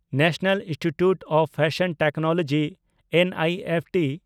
national institute of fashion technology (NIFT)